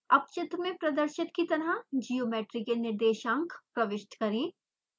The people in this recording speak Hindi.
अब चित्र में प्रदर्शित की तरह ज्योमेट्री के निर्देशांक प्रविष्ट करें